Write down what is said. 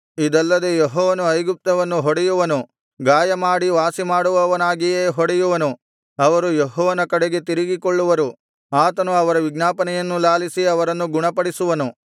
ಇದಲ್ಲದೆ ಯೆಹೋವನು ಐಗುಪ್ತವನ್ನು ಹೊಡೆಯುವನು ಗಾಯಮಾಡಿ ವಾಸಿಮಾಡುವವನಾಗಿಯೇ ಹೊಡೆಯುವನು ಅವರು ಯೆಹೋವನ ಕಡೆಗೆ ತಿರುಗಿಕೊಳ್ಳುವರು ಆತನು ಅವರ ವಿಜ್ಞಾಪನೆಯನ್ನು ಲಾಲಿಸಿ ಅವರನ್ನು ಗುಣಪಡಿಸುವನು